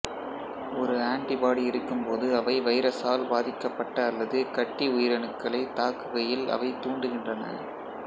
ஒரு ஆன்டிபாடி இருக்கும்போது அவை வைரஸால் பாதிக்கப்பட்ட அல்லது கட்டி உயிரணுக்களை தாக்குகையில் அவை தூண்டுகின்றன